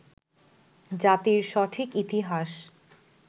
জাতির সঠিক ইতিহাস